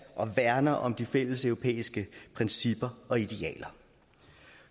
og værner om de fælleseuropæiske principper og idealer